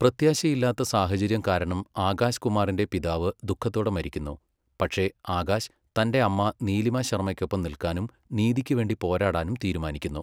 പ്രത്യാശയില്ലാത്ത സാഹചര്യം കാരണം ആകാശ് കുമാറിന്റെ പിതാവ് ദുഃഖത്തോടെ മരിക്കുന്നു, പക്ഷേ ആകാശ് തന്റെ അമ്മ നീലിമ ശർമ്മയ്ക്കൊപ്പം നിൽക്കാനും നീതിക്കുവേണ്ടി പോരാടാനും തീരുമാനിക്കുന്നു.